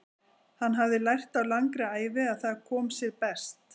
Hann hafði lært á langri ævi að það kom sér best.